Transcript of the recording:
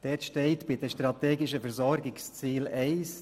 Das erste Ziel unter «Strategische Versorgungsziele» lautet: